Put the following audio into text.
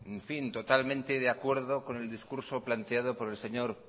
en fin totalmente de acuerdo con el discurso planteado por el señor